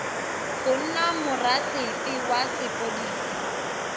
go nna morasefe wa sepodisi